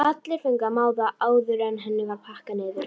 Allir fengu að máta áður en henni var pakkað niður.